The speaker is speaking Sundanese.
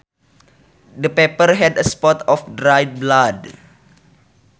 The paper had a spot of dried blood